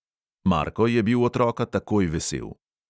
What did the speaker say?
Marko je bil otroka takoj vesel.